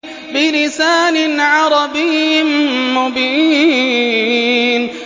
بِلِسَانٍ عَرَبِيٍّ مُّبِينٍ